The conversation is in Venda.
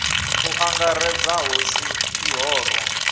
u angaredza hu si ḽihoro